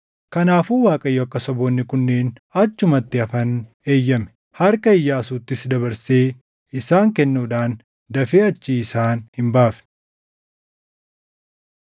Kanaafuu Waaqayyo akka saboonni kunneen achumatti hafan eeyyame; harka Iyyaasuuttis dabarsee isaan kennuudhaan dafee achii isaan hin baafne.